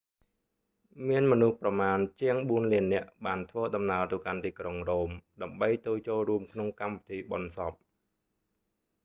មានមនុស្សប្រមាណជាងបួនលាននាក់បានធ្វើដំណើរទៅកាន់ទីក្រុង រ៉ូម ដើម្បីទៅចូលរួមក្នុងកម្មវិធីបុណ្យសព